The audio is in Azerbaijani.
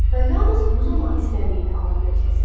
Və yalnız bu zaman istədiyini ala biləcəksən.